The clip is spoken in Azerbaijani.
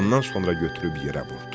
Ondan sonra götürüb yerə vurdu.